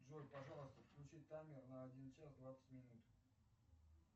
джой пожалуйста включи таймер на один час двадцать минут